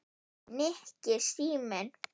Nikki, síminn